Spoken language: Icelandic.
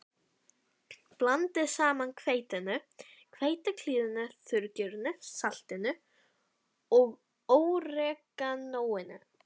Blandið saman hveitinu, hveitiklíðinu, þurrgerinu, saltinu og óreganóinu.